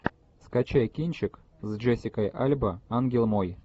скачай кинчик с джессикой альба ангел мой